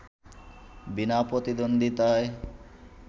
বিনা প্রতিদ্বন্দ্বিতায়